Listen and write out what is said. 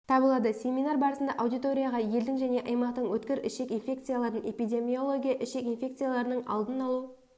табылады семинар барысында аудиторияға елдің және аймақтың өткір ішек инфекциялардың эпидемиология ішек инфекцияларының алдын алу